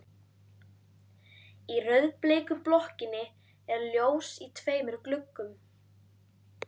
Í rauðbleiku blokkinni er ljós í tveimur gluggum.